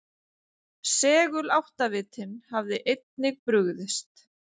Seguláttavitinn hafði einnig brugðist.